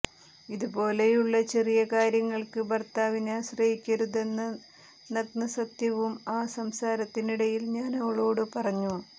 ഇതുപോലെയുള്ള ചെറിയ കാര്യങ്ങൾക്ക് ഭർത്താവിനെ ആശ്രയിക്കരുതെന്ന നഗ്നസത്യവും ആ സംസാരത്തിനിടയിൽ ഞാനവളോട് പറഞ്ഞു